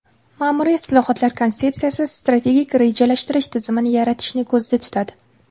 Ma’muriy islohotlar konsepsiyasi strategik rejalashtirish tizimini yaratishni ko‘zda tutadi.